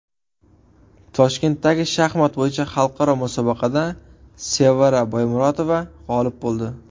Toshkentdagi shaxmat bo‘yicha xalqaro musobaqada Sevara Boymurotova g‘olib bo‘ldi.